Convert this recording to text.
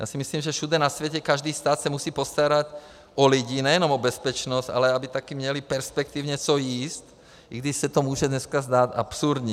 Já si myslím, že všude na světě každý stát se musí postarat o lidi, nejenom o bezpečnost, ale aby také měli perspektivně co jíst, i když se to může dneska zdát absurdní.